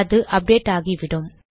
அது அப்டேட் ஆகிவிடும்